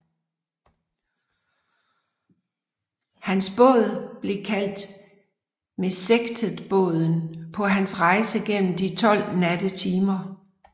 Hans båd blev kaldt Mesektetbåden på hans rejse gennem de tolv nattetimer